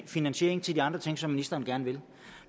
finansiering til de andre ting som ministeren gerne vil